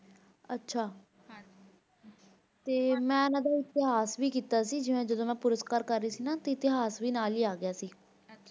ਤੇ ਮੈਂ ਇਹਨਾਂ ਦਾ ਇਤਿਹਾਸ ਵੀ ਕੀਤਾ ਸੀ ਤੇ ਜਦੋ ਮੈਂ ਪੁਰਸਕਾਰ ਕਰ ਰਹੀ ਸੀ ਨਾ ਤਾਂ ਇਤਿਹਾਸ ਵੀ ਨਾਲ ਹੀ ਆ ਗਯਾ ਸੀ